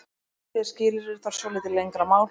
Þriðja skilyrðið þarf svolítið lengra mál.